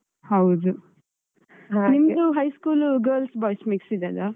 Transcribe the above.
ಹೌದು. ನಿಮ್ದು high school, girls boys mix ಇದ್ದದ್ದಾ?